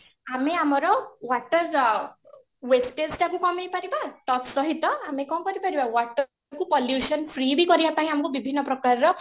ଆମେ ଆମର water wastage ଟାକୁ କମେଇ ପାରିବା ତତ୍ସହିତ ଆମେ କ'ଣ କରିପାରିବା water କୁ pollution free ବି କରିବା ପାଇଁ ଆମକୁ ବିଭିନ୍ନ ପ୍ରକାରର